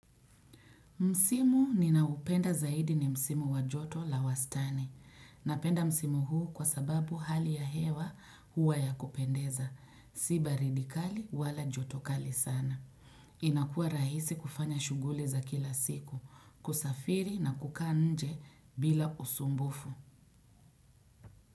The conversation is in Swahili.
Msimu ninaupenda zaidi ni Msimu wajoto la wastani. Napenda Msimu huu kwa sababu hali ya hewa hua ya kupendeza. Siba ridikali wala jotokali sana. Inakua rahisi kufanya shuguli za kila siku. Kusafiri na kukaa nje bila usumbufu.